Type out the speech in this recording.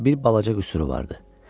Amma bir balaca qüsuru vardı.